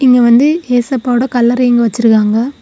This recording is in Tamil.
இங்க வந்து இயேசப்பாவோட கல்லறை இங்க வச்சிருக்காங்க.